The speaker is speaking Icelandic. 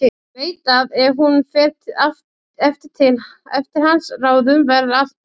Veit að ef hún fer eftir hans ráðum verður allt betra.